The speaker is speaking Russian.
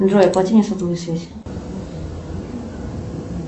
джой оплати мне сотовую связь